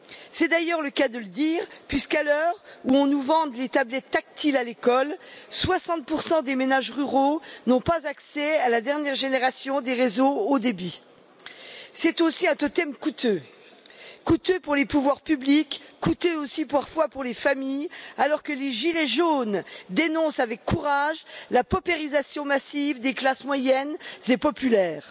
C'est d'ailleurs le cas de le dire, puisqu'à l'heure où on nous vante les tablettes tactiles à l'école, 60 pour cent des ménages ruraux n'ont pas accès à la dernière génération des réseaux haut débit. C'est aussi un totem coûteux, coûteux pour les pouvoirs publics, coûteux parfois aussi pour les familles, alors que les gilets jaunes dénoncent avec courage la paupérisation massive des classes moyennes et populaires.